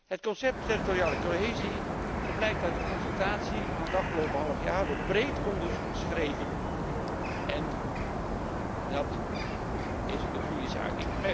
Het concept territoriale cohesie, zo blijkt uit het overleg van het afgelopen half jaar, wordt breed onderschreven en dat is een goede zaak.